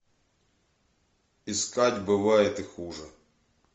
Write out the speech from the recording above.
искать бывает и хуже